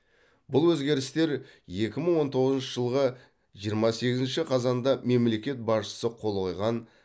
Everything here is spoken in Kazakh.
бұл өзгерістер екі мың он тоғызыншы жылғы жиырма сегізінші қазанда мемлекет басшысы қол қойған